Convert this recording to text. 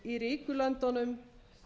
í ríku löndunum